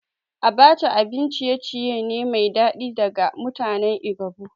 Abacha abin ciye-ciye ne mai daɗi daga mutanen Igbo